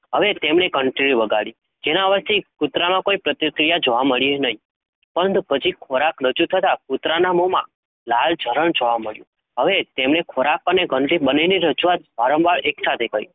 હવે તેમને ઘંટડી વગાડી જેના અવાજથી કૂતરામાં કોઈ પ્રતિક્રિયા જોવા મળી નહીં. પરંતુ પછી ખોરાક રજુ થતાં કુતરાના મોમાં લાળ જરણ જોવા મળ્યું. હવે તેમને ખોરાક અને ઘંટડી બંનેની રજુઆત વારંવાર એકસાથે કરી.